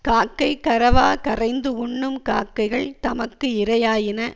காக்கை கரவா கரைந்து உண்ணும் காக்கைகள் தமக்கு இரையாயின